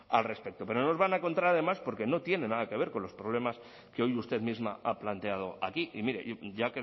al respecto pero no nos van a encontrar además porque no tiene nada que ver con los problemas que hoy usted misma ha planteado aquí y mire ya